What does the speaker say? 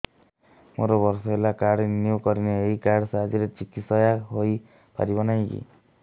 ମୋର ବର୍ଷେ ହେଲା କାର୍ଡ ରିନିଓ କରିନାହିଁ ଏହି କାର୍ଡ ସାହାଯ୍ୟରେ ଚିକିସୟା ହୈ ପାରିବନାହିଁ କି